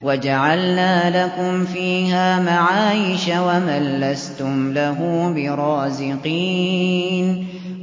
وَجَعَلْنَا لَكُمْ فِيهَا مَعَايِشَ وَمَن لَّسْتُمْ لَهُ بِرَازِقِينَ